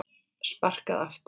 Sparkað aftur.